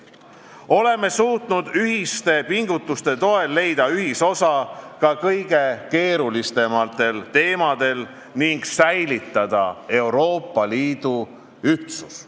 Oleme suutnud ühiste pingutuste toel leida ühisosa ka kõige keerulisemate teemade puhul ning säilitada Euroopa Liidu ühtsuse.